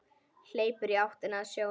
Hleypur í áttina að sjónum.